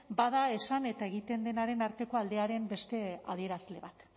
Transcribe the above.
bada esan eta egiten denaren arteko aldearen beste adierazle bat